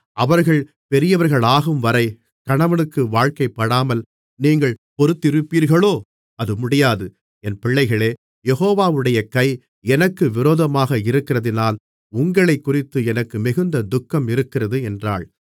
அவர்கள் பெரியவர்களாகும்வரை கணவனுக்கு வாழ்க்கைப்படாமல் நீங்கள் பொறுத்திருப்பீர்களோ அது முடியாது என் பிள்ளைகளே யெகோவாவுடைய கை எனக்கு விரோதமாக இருக்கிறதினால் உங்களைக் குறித்து எனக்கு மிகுந்த துக்கம் இருக்கிறது என்றாள்